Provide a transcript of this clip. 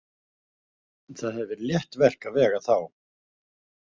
Það hefði verið létt verk að vega þá.